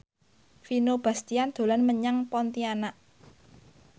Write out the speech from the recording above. Vino Bastian dolan menyang Pontianak